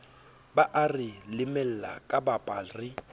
ba are lemela kapaba re